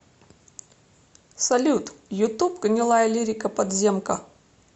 салют ютуб гнилаялирика подземка